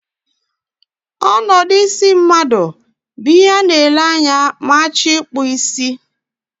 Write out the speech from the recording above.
Onodu isi mmadu bu ihe a na-ele anya ma a choro I la isi.